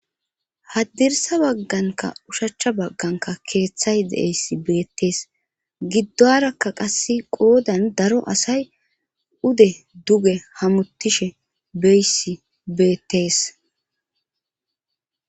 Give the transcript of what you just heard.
Hadirsa baganka kethay de'izaysi betise giduwaraka qase qodan daro asay duge hamutishe doysi betes